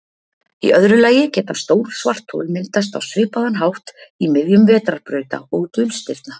Í öðru lagi geta stór svarthol myndast á svipaðan hátt í miðjum vetrarbrauta og dulstirna.